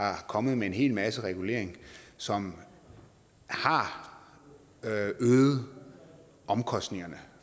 er kommet med en hel masse regulering som har øget omkostningerne